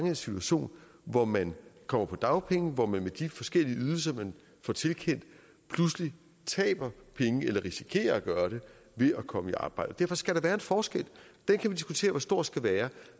en situation hvor man kommer på dagpenge og hvor man med de forskellige ydelser man får tilkendt pludselig taber penge eller risikerer at gøre det ved at komme i arbejde og derfor skal der være en forskel den kan vi diskutere hvor stor skal være